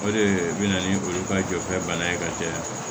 O de bɛ na ni olu ka jɔfɛn bana ye ka caya